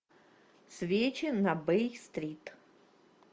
свечи на бей стрит